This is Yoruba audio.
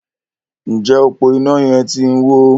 Njé ọpo iná yén tí ń wọ?